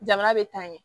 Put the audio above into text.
Jamana bɛ taa ɲɛ